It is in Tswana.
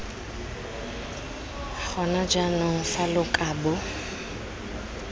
gona jaanong fa lo kabo